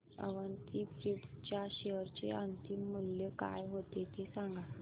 Avanti feeds च्या share चे अंतिम मूल्य काय होते ते सांगा